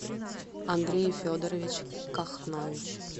андрей федорович кахнович